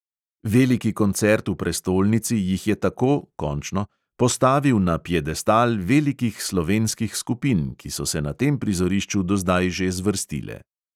Veliki koncert v prestolnici jih je tako postavil na piedestal velikih slovenskih skupin, ki so se na tem prizorišču do zdaj že zvrstile.